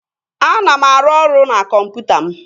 Ana m arụ ọrụ na kọmputa m